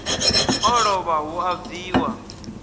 o lovha hu a bviwa